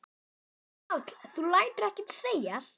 Páll: Þú lætur ekki segjast?